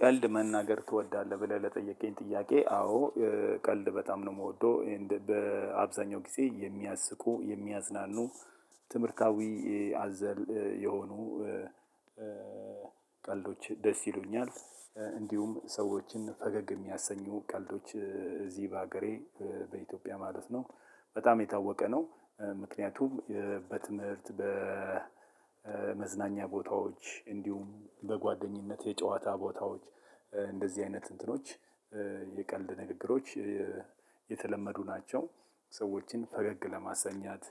ቀልድ መናገር ትወዳለህ ብለህ ለጠየቀኝ ጥያቄ አዎ? ቀልድ በጣም ነው የምወደው ኤንድ በአብዛኛው ጊዜ የሚያስቁ የሚያዝናኑ ትምህርታዊ አዘል የሆኑ ቀልዶች ደስ ይሉኛል። እንዲሁም ሰዎችን ፈገግ የሚያሰኙ ቀልዶች እዚህ በሀገሬ በኢትዮጵያ ማለት ነው በጣም የታወቀ ነው። ምክንያቱም በትምህርት በመዝናኛ ቦታዎች እንዲሁም በጓደኝነት የጨዋታ ቦታዎች እንደዚህ አይነት እንትኖች የቀልድ ንግግሮች የተለመዱ ናቸው። ሰዎችን ፈገግ ለማሰኘት